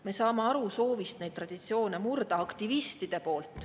Me saame aru aktivistide soovist neid traditsioone murda.